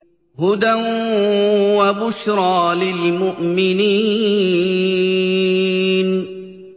هُدًى وَبُشْرَىٰ لِلْمُؤْمِنِينَ